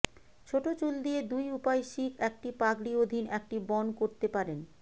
ছোট চুল দিয়ে দুই উপায় শিখ একটি পাগড়ি অধীন একটি বন করতে পারেন